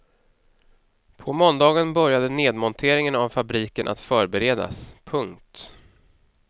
På måndagen började nedmonteringen av fabriken att förberedas. punkt